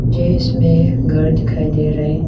यह इसमें घर दिखाई दे रहा है।